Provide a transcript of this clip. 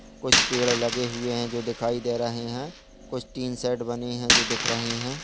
कुछ पेड़ लगे हुए है जो दिखाई दे रहे है कुछ टीन सेट बने है जो दिख रहे है।